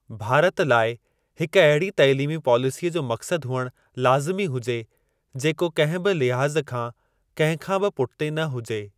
भारत लाइ हिक अहिड़ी तालीमी पॉलिसीअ जो मक़्सद हुअणु लाज़िमी हुजे, जेको कहिं बि लिहाज़ खां, कंहिं खां बि पुठिते न हुजे।